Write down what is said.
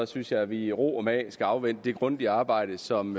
synes jeg at vi i ro og mag skal afvente det grundige arbejde som